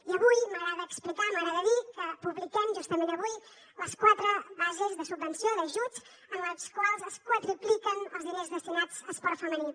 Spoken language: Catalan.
i avui m’agrada explicar m’agrada dir que publiquem justament avui les quatre bases de subvenció d’ajuts en les quals es quadrupliquen els diners destinats a esport femení